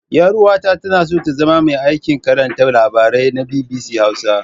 Ƴar'uwata tana so ta zama mai aikin karanta labarai na BBC Hausa.